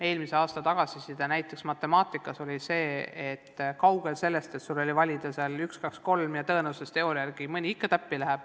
Eelmise aasta tagasiside näiteks matemaatikas oli, et asi oli kaugel sellest, et õpilasel oli valida vastus 1, 2 või 3, ja tõenäosusteooria järgi mõni ikka täppi läheb.